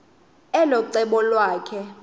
elo cebo lakhe